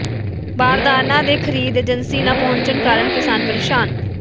ਬਾਰਦਾਨਾ ਤੇ ਖਰੀਦ ਏਜੰਸੀ ਨਾ ਪਹੁੰਚਣ ਕਾਰਨ ਕਿਸਾਨ ਪ੍ਰੇਸ਼ਾਨ